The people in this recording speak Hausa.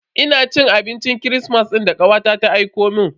Ina cin abincin kirismas din da kawata ta aikomun.